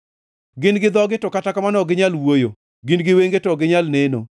Gin gi dhogi, to kata kamano, ok ginyal wuoyo, gin gi wenge, to ok ginyal neno.